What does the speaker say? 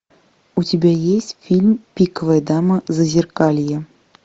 у тебя есть фильм пиковая дама зазеркалье